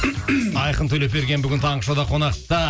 айқын төлепберген бүгін таңғы шоуда қонақта